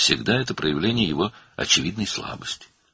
Bu, həmişə onun açıq-aşkar zəifliyinin təzahürüdür.